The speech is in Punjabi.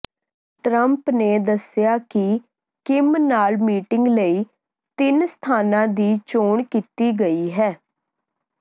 ਟਰੰਪ ਨੇ ਦੱਸਿਆ ਕਿ ਕਿਮ ਨਾਲ ਮੀਟਿੰਗ ਲਈ ਤਿੰਨ ਸਥਾਨਾਂ ਦੀ ਚੋਣ ਕੀਤੀ ਗਈ ਹੈ